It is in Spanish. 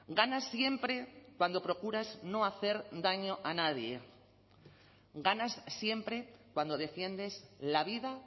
ganas siempre cuando procuras no hacer daño a nadie ganas siempre cuando defiendes la vida